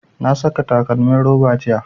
Na saka takalmin roba jiya